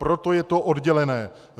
Proto je to oddělené.